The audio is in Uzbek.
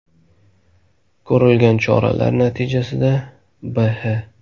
Ko‘rilgan choralar natijasida B.H.